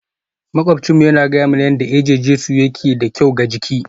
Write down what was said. Maƙwabcinmu yana gaya mana yadda eje-jesu yake da kyau ga jiki